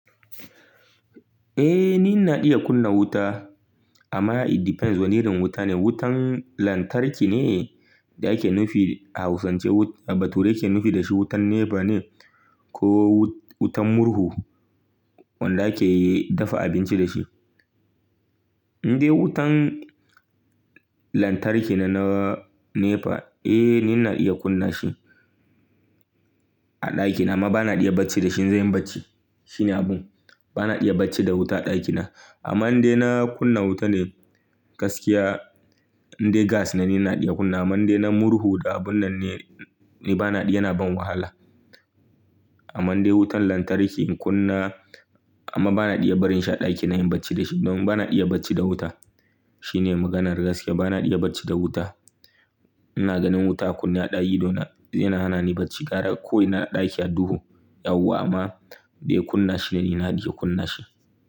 Eh, ni ina iya kunna wuta amma it depends wane irin wuta ne. Wutan lantarki ne da ake nufi a hausance, bature ake nufi dashi, wutan neps ne ko wutan murhu wanda ake dafa abinci dashi. In dai wutan lantarki ne na nepa, eh ni na iya kunna shi a dakina ma bana iya bacci da shi in zanyi bacci. Shine abun, bana iya bacci da wuta a dakina. Amman in dai na kunna wuta ne gaskiya in dai gas ne, ni na iya kunna. Ammannai na murhu da abun nan ne, ni bana iya, yana ban wahala. Ammannai wutan lantarki in kunna amma bana iya barin shi a dakina inyi bacci dashi don bana iya bacci da wuta. Shine maganar gaskiya bana iya bacci da wuta. Ina ganin wuta a kunne a ɗayi idona yana hana ni bacci. Kara ko ina na ɗaki a duhu yau amma dai kunna shi ni na iya kunna shi.